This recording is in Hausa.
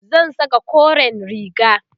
zan Saka koren riga